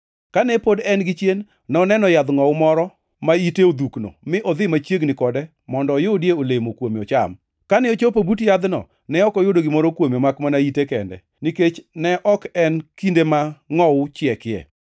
Kane pod en gichien, noneno yadh ngʼowu moro ma ite odhukno mi odhi machiegni kode mondo oyudie olemo kuome ocham. Kane ochopo but yadhno ne ok oyudo gimoro kuome makmana ite kende, nikech ne ok en kinde ma ngʼowu chiekie.